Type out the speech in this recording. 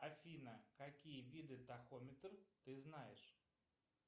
афина какие виды тахометр ты знаешь